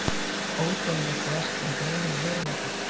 Ódauðlegt verk um draum og veruleika